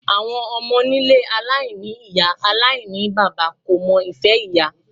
Àwọn ọmọ nílé aláìní ìyá aláìníbaba kò mọ ìfẹ́ ìyá.